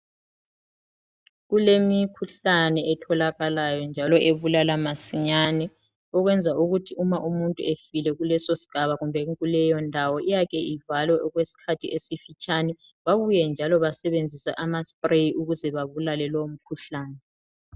Kulemikhuhlane etholakalayo njalo ebulala masinyane ukwenza ukuthi uma umuntu efile kuleso sigaba kumbe kuleyo ndawo iyake ivalwe okwesikhathi esifitshane babuye njalo basebenzise asprayi ukuze babulale lowo mkhuhlane.